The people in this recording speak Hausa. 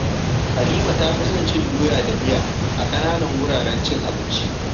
Halima ta fi son cin doya da miya a ƙananan wuraren cin abinci.